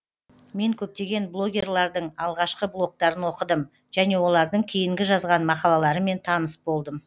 мен көптеген блогерлардың алғашқы блогтарын оқыдым және олардың кейінгі жазған мақалаларымен таныс болдым